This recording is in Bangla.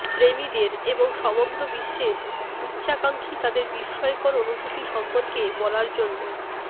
প্রেমীদের এবং সমগ্র বিশ্বের উচ্চাকাঙ্ক্ষী তাদের বিস্ময়কর অনুভূতি সম্পর্কে বলার জন্য